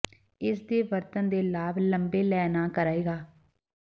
ਇਸ ਦੇ ਵਰਤਣ ਦੇ ਲਾਭ ਲੰਬੇ ਲੈ ਨਾ ਕਰੇਗਾ